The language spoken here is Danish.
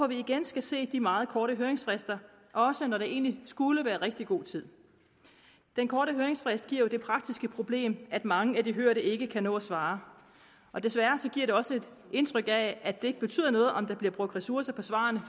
vi igen se de meget korte høringsfrister og også når der egentlig skulle være rigtig god tid den korte høringsfrist giver jo det praktiske problem at mange af de hørte ikke kan nå at svare og desværre giver det også et indtryk af at det ikke betyder noget om der bliver brugt ressourcer på svarene